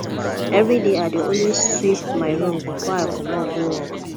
evriday i dey always sweep my room bifor i comot go work